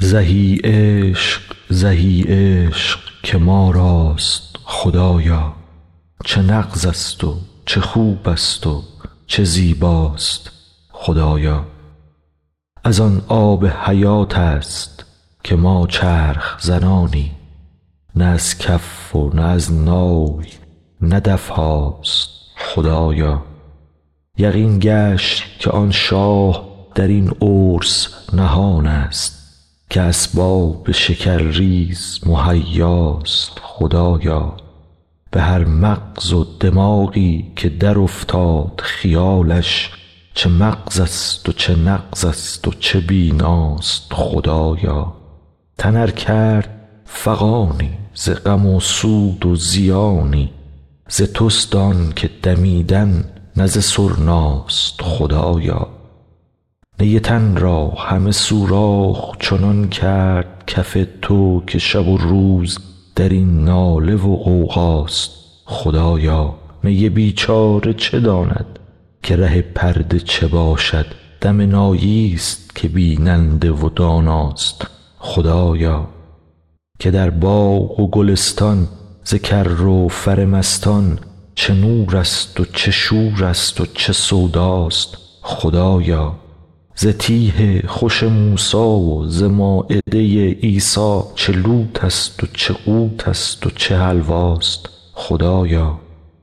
زهی عشق زهی عشق که ما راست خدایا چه نغزست و چه خوبست و چه زیباست خدایا از آن آب حیاتست که ما چرخ زنانیم نه از کف و نه از نای نه دف هاست خدایا یقین گشت که آن شاه در این عرس نهانست که اسباب شکرریز مهیاست خدایا به هر مغز و دماغی که درافتاد خیالش چه مغزست و چه نغزست چه بیناست خدایا تن ار کرد فغانی ز غم سود و زیانی ز تست آنک دمیدن نه ز سرناست خدایا نی تن را همه سوراخ چنان کرد کف تو که شب و روز در این ناله و غوغاست خدایا نی بیچاره چه داند که ره پرده چه باشد دم ناییست که بیننده و داناست خدایا که در باغ و گلستان ز کر و فر مستان چه نورست و چه شورست چه سوداست خدایا ز تیه خوش موسی و ز مایده عیسی چه لوتست و چه قوتست و چه حلواست خدایا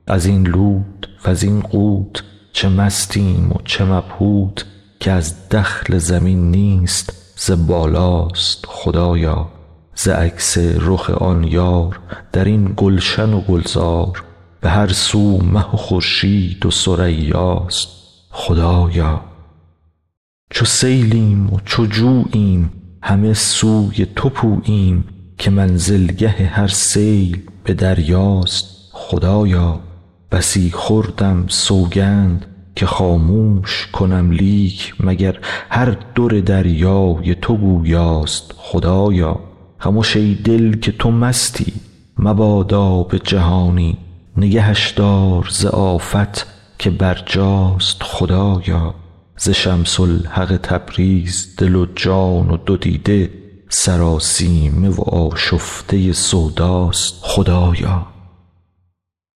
از این لوت و زین قوت چه مستیم و چه مبهوت که از دخل زمین نیست ز بالاست خدایا ز عکس رخ آن یار در این گلشن و گلزار به هر سو مه و خورشید و ثریاست خدایا چو سیلیم و چو جوییم همه سوی تو پوییم که منزلگه هر سیل به دریاست خدایا بسی خوردم سوگند که خاموش کنم لیک مگر هر در دریای تو گویاست خدایا خمش ای دل که تو مستی مبادا به جهانی نگهش دار ز آفت که برجاست خدایا ز شمس الحق تبریز دل و جان و دو دیده سراسیمه و آشفته سوداست خدایا